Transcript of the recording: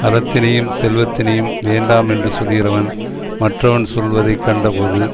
அறத்தினையும் செல்வத்தினையும் வேண்டாம் என்று சொல்லுகிறவன் மற்றவன் செல்வத்தை கண்டபோது